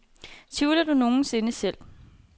Tvivler du nogen sinde selv?